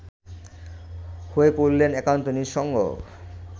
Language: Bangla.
হয়ে পড়লেন একান্ত নিঃসঙ্গ